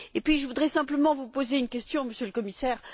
Je voudrais simplement vous poser une question, Monsieur le Commissaire.